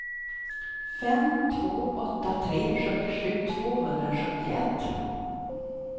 fem två åtta tre sjuttiosju tvåhundrasjuttioett